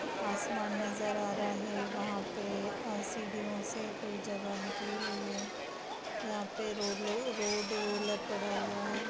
आसमान नजर आ रहा है वहां पे सीढ़ियो से कोई जगह निकली हुई है यहाँ पर रोड रोड रोलर पड़ा हुआ है।